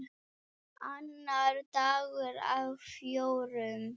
Annar dagur af fjórum.